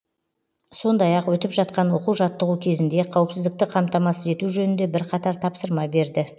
сондай ақ өтіп жатқан оқу жаттығу кезінде қауіпсіздікті қамтамасыз ету жөнінде бірқатар тапсырма берді